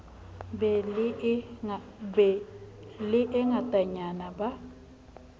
be le e ngatanyana ba